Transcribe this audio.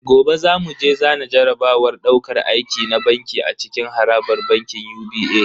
Gobe zamu je zana jarabawar dauƙar aiki na banki a cikin harabar bankin UBA